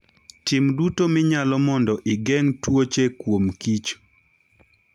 Tim duto minyalo mondo igeng' tuoche kuomkich.